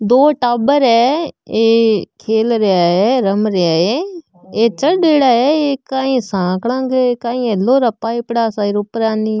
दो टाबर है ये खेलरा है रम रा है ये चढ़ेडा है ये काई साकला के काई है लौह के पाइपडा सा ऊपरा --